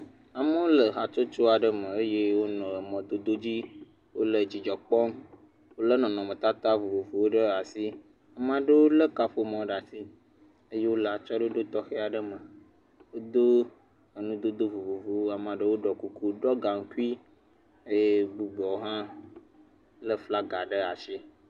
Amewo nɔ hatsotso aɖe me eye wonɔ mɔdodo aɖe dzi. Wòle dzidzɔ kpɔm. Wòle nɔnɔme tata vovovowo ɖe asi. Ame aɖe le kaƒomɔ ɖe asi eye wole atsyɔe ɖoɖo tɔxɛ aɖe me. Wodo awu dodo vovovowo. Ame aɖe ɖɔ kuku, ɖɔ gankui eye bubuwo hã le flaga ɖe asi.